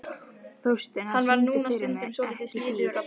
Þórsteina, syngdu fyrir mig „Ekki bíl“.